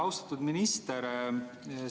Austatud minister!